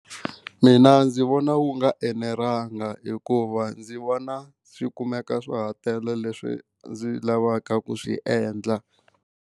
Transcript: Mina ndzi vona wu nga enelanga hikuva ndzi vona swi kumeka swa ha tele leswi ndzi lavaka ku swi endla.